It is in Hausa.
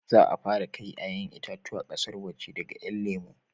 Za a fara kai 'ya'yan itatuwa ƙasar waje daga 'yan lemo